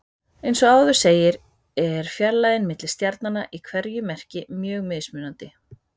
Eins og áður segir er fjarlægðin milli stjarnanna í hverju merki mjög mismunandi.